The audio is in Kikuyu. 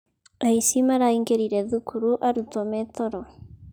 Aici maraingĩrire thukuru arutwo metoro.